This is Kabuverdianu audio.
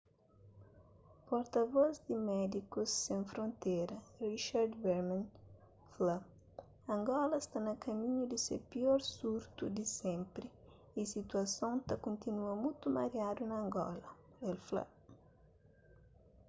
porta-vos di médikus sen frontera richard veerman fla angola sta na kaminhu di se pior surtu di senpri y situason ta kontínua mutu mariadu na angola el fla